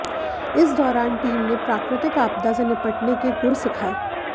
इस दौरान टीम ने प्राकृतिक आपदा से निपटने के गुर सिखाए